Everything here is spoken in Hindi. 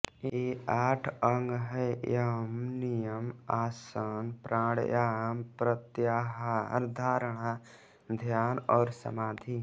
ये आठ अंग हैं यम नियम आसन प्राणायाम प्रत्याहार धारणा ध्यान और समाधि